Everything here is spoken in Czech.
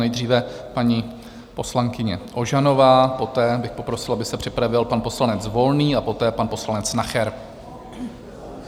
Nejdříve paní poslankyně Ožanová, poté bych poprosil, aby se připravil pan poslanec Volný a poté pan poslanec Nacher.